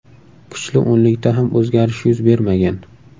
Kuchli o‘nlikda ham o‘zgarish yuz bermagan.